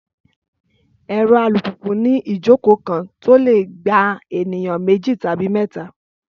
Ẹ̀rọ alùpùpù ni ìjókòó kan tó lè gba ènìyàn méjì tàbí mẹ́ta